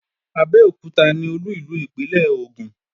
Abẹ́òkúta ni Olú ìlú ìpínlè Ògùn